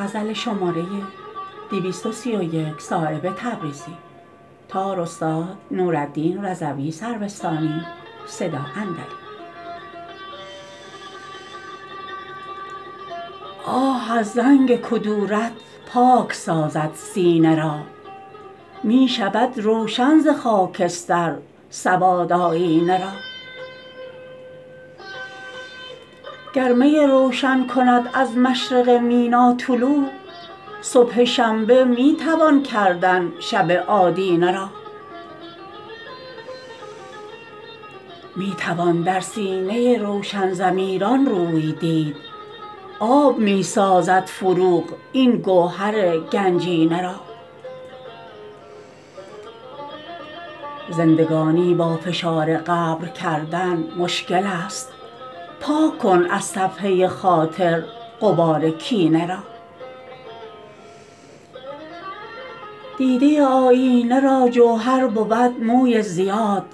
آه از زنگ کدورت پاک سازد سینه را می شود روشن ز خاکستر سواد آیینه را گر می روشن کند از مشرق مینا طلوع صبح شنبه می توان کردن شب آدینه را می توان در سینه روشن ضمیران روی دید آب می سازد فروغ این گهر گنجینه را زندگانی با فشار قبر کردن مشکل است پاک کن از صفحه خاطر غبار کینه را دیده آیینه را جوهر بود موی زیاد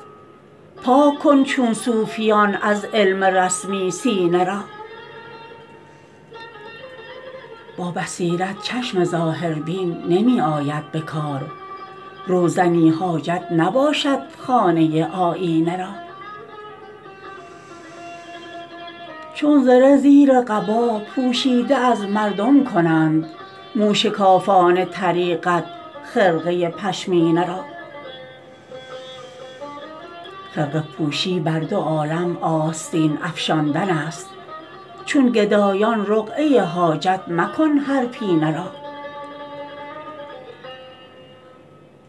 پاک کن چون صوفیان از علم رسمی سینه را با بصیرت چشم ظاهربین نمی آید به کار روزنی حاجت نباشد خانه آیینه را چون زره زیر قبا پوشیده از مردم کنند موشکافان طریقت خرقه پشمینه را خرقه پوشی بر دو عالم آستین افشاندن است چون گدایان رقعه حاجت مکن هر پینه را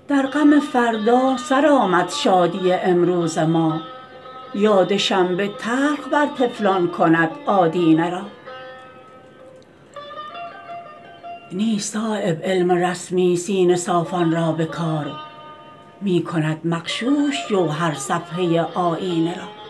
در غم فردا سرآمد شادی امروز ما یاد شنبه تلخ بر طفلان کند آدینه را نیست صایب علم رسمی سینه صافان را به کار می کند مغشوش جوهر صفحه آیینه را